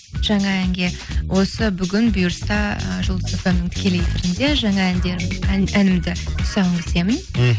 жаңа әнге осы бүгін бұйырса ы жұлдыз фмнің тікелей эфирінде жаңа әнімді тұсауын кесемін мхм